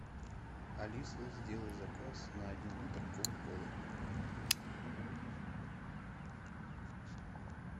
алиса сделай заказ на один литр кока колы